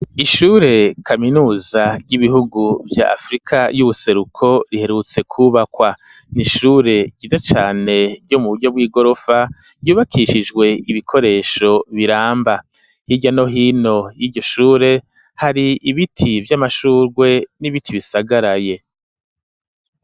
Ishure kaminuza ry'ibihugu vya afrika y'ubuseruko riherutse ku bakwa n'ishure ryize cane mu buryo bw'igorofa ryubakishijwe ibikoresho biramba hirya no hino yiryo shure hari ibiti vy'amashurwe n'ibiti bisagaraye.